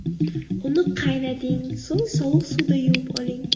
Uni qaynating, so‘ng sovuq suvda yuvib oling.